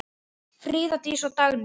Fríða Dís og Dagný.